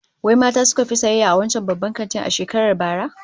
Wai mata suka fi sayayya a wancan babban kantin a shekarar bara?